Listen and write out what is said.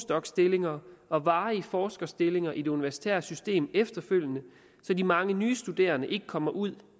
doc stillinger og varige forskerstillinger i det universitære system efterfølgende så de mange nye studerende ikke kommer ud